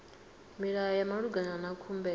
milayo ya malugana na khumbelo